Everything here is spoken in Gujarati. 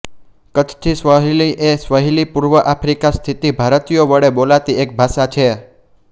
કચ્છીસ્વાહિલી એ સ્વાહિલી પૂર્વ આફ્રિકા સ્થિત ભારતીયો વડે બોલાતી એક ભાષા છે